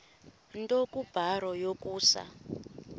nto kubarrow yokusa